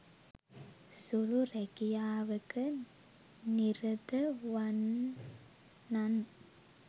සුළු රැකියාවක නිරත වන්නන්